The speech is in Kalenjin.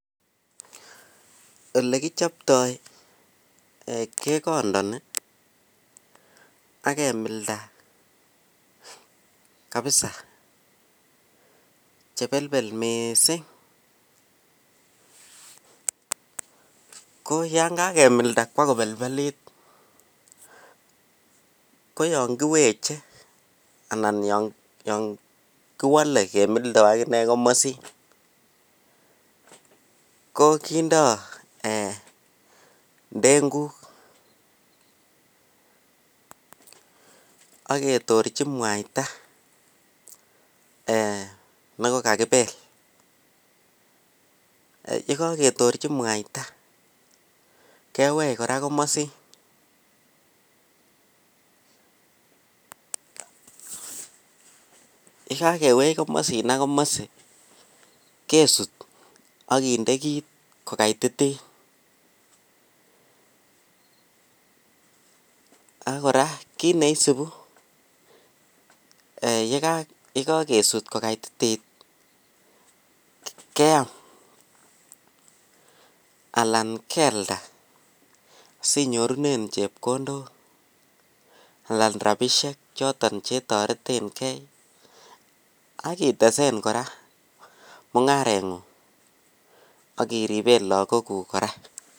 Olekichoptoi kekondoni am kemilda kabisa chebelbel mising, ko yoon kakemilda kwaa kobelbelit koyon kiweche Alan Yoon kiwole kemildo akinee komosin ko kindo eeh ndeng'uk ak ketorchi mwaita nekokakibel, yekoketorchi mwaita kewech kora komosin, yekakewech komosin ak komosi kesut ak kinde kiit ko kaititit ak kora kiit neisibu yekokesut ko kaititit kiam alan kealda sinyorunen chepkondok alan rabishek choton chetoreteng'e ak itesen kora mung'arengung ak iriben lokokuk kora.